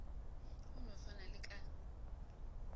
go no swana le ka